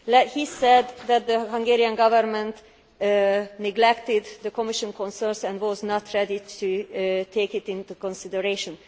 He said that the Hungarian Government neglected the Commission consensus and was not ready to take it into consideration.